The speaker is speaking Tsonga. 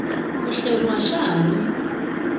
ku hleriwa xa ha ri